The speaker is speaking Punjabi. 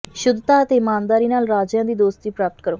ਸ਼ੁੱਧਤਾ ਅਤੇ ਇਮਾਨਦਾਰੀ ਨਾਲ ਰਾਜਿਆਂ ਦੀ ਦੋਸਤੀ ਪ੍ਰਾਪਤ ਕਰੋ